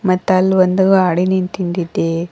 ಮತ್ತ್ ಅಲ್ ಒಂದು ಗಾಡಿ ನಿಂತಿಂದ್ ಇದೆ.